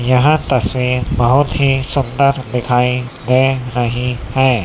यहां तस्वीर बहोत ही सुंदर दिखाएं दे रही है।